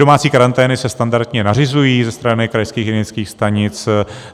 Domácí karantény se standardně nařizují ze strany krajských hygienických stanic.